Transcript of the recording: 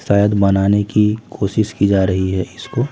शायद मनाने की कोशिश की जा रही है इसको।